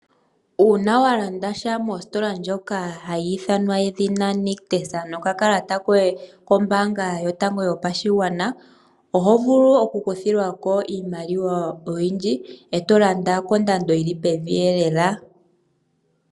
Uuna wa landasha mositola ndjoka hayi ithanwa nedhina nictus nokakalata koye kombaanga yotango yopashigwana oho vulu oku kuthilwa ko iimaliwa oyindji eto landa kondando yili pevi lela.